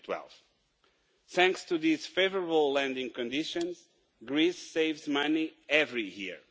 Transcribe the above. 2012. Thanks to these favourable landing conditions, Greece saves money every year.